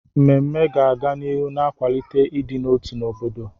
Mmemme ga-aga n'ihu na-akwalite ịdị n'otu n'obodo.